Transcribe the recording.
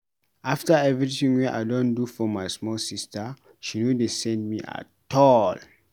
After everytin wey I don do for my small sista she no dey send me at all.